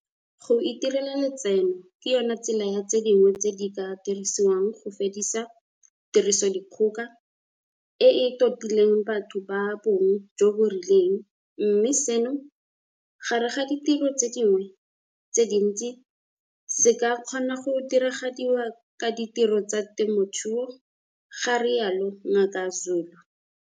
"Go itirela letseno ke yona tsela ya tse dingwe tse di ka dirisiwang go fedisa tirisodikgoka e e totileng batho ba bong jo bo rileng mme seno, gare ga ditiro tse dingwe tse dintsi, se ka kgona go diragadiwa ka ditiro tsa temothuo," ga rialo Ngaka Zulu.